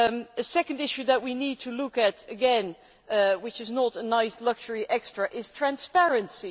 A second issue that we need to look at again which is not a nice luxury extra is transparency.